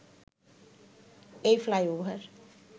এই ফ্লাইওভার